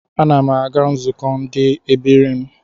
Ana m aga nzụkọ ndi ebiri m